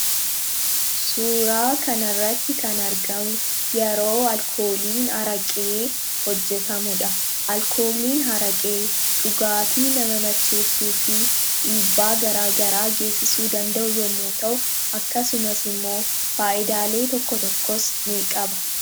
Suuraa kanaa gadii irraa kan mul'atu yeroo araqeen hojjetamu dha. Araqeen dhugaatii nama macheessuu fi dhiibbaa garaa garaa fayyaa namaa irraan kan ga'uu dha. Faallaa sanaan immoo faayidaas kan qabuu dha.